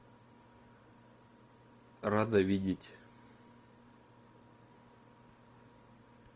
рада видеть